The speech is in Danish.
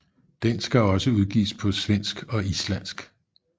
Den skal også udgives på svenske og islandsk